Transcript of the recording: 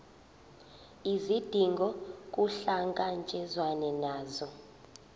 izidingo kuhlangatshezwane nazo